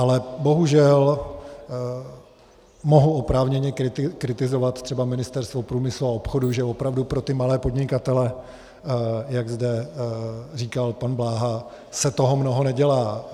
Ale bohužel mohu oprávněně kritizovat třeba Ministerstvo průmyslu a obchodu, že opravdu pro ty malé podnikatele, jak zde říkal pan Bláha, se toho mnoho nedělá.